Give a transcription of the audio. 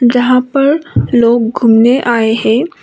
जहां पर लोग घूमने आए हैं।